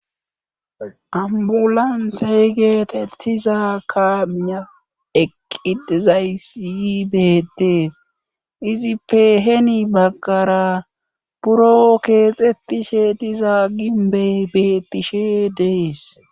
ambulan seygeetettiza kaamiya eqqidizaysi betees izippe heni baggara buro keexettishe diza ginbe bettishe dees